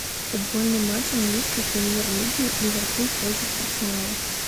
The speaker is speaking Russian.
футбольный матч английской премьер лиги ливерпуль против арсенала